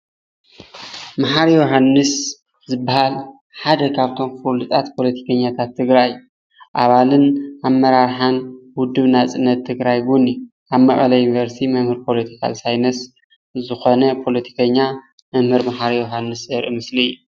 መሓሪ የውሃንስ ዝበሃል ሓደ ካፍቶም ፍሉጣት ፖለቲከኛታት ትግራይ ኣባልን ኣመራርሓን ውድብ ናጽነት ትግራይ አውን እዩ። ኣብ መቐለ ዩኒቨርስቲ መምህር ፖለቲካል ሳይነስ ዝኮነ ፖለቲከኛ መምህር መሓሪ የውሃንስ ዘርኢ ምስሊ አዩ።